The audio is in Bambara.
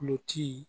Kulo ci